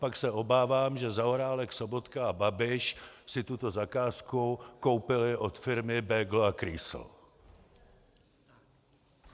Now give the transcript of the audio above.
Pak se obávám, že Zaorálek, Sobotka a Babiš si tuto zakázku koupili od firmy Bögl a Krýsl.